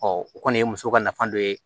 o kɔni ye muso ka nafa dɔ ye